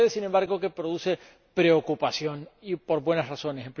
Sucede, sin embargo, que produce preocupación, y por buenas razones.